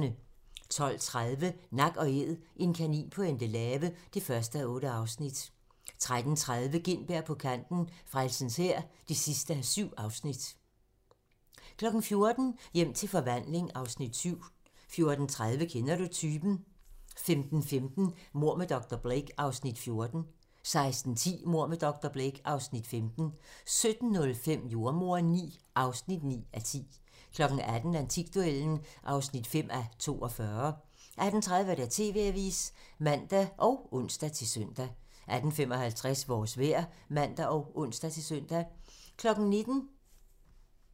12:30: Nak & Æd - en kanin på Endelave (1:8) 13:30: Gintberg på kanten - Frelsens Hær (7:7) 14:00: Hjem til forvandling (Afs. 7) 14:30: Kender du typen? 15:15: Mord med dr. Blake (Afs. 14) 16:10: Mord med dr. Blake (Afs. 15) 17:05: Jordemoderen IX (9:10) 18:00: Antikduellen (5:42) 18:30: TV-avisen (man og ons-søn) 18:55: Vores vejr (man og ons-tor)